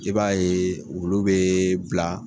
I b'a ye wulu bɛ bila.